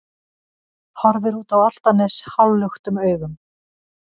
Horfir út á Álftanes hálfluktum augum.